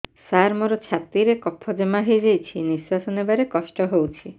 ସାର ମୋର ଛାତି ରେ କଫ ଜମା ହେଇଯାଇଛି ନିଶ୍ୱାସ ନେବାରେ କଷ୍ଟ ହଉଛି